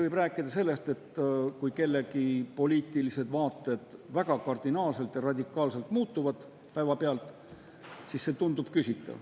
Võib rääkida sellest, et kui kellegi poliitilised vaated kardinaalselt ja radikaalselt päevapealt muutuvad, siis see tundub küsitav.